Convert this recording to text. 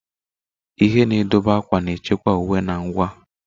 Ihe na-edobe akwa na-echekwa uwe na ngwa.